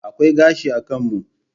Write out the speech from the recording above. Akwai gashi a kan mu.